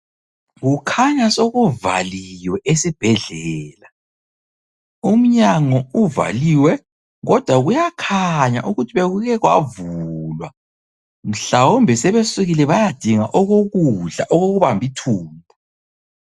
Kukhanya sokuvaliwe esibhedlela . Umnyango uvaliwe kodwa kuyakhanya ukuthi bekuke kwavulwa mhlawumbe sebesukile bayadinga okokudla okokubamba ithumbu.